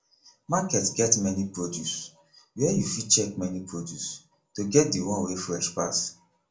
market get many produce where you fit check many produce to get de one wey fresh pass